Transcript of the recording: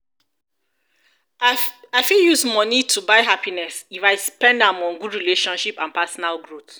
i fit use money to buy happiness if i spend am on good relationship and personal growth.